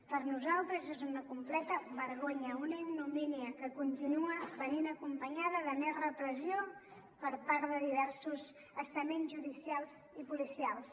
per nosaltres és una completa vergonya una ignomínia que continua venint acompanyada de més repressió per part de diversos estaments judicials i policials